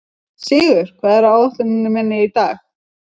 Sigur, hvað er á áætluninni minni í dag?